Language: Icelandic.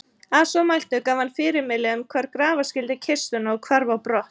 Að svo mæltu gaf hann fyrirmæli um hvar grafa skyldi kistuna og hvarf á brott.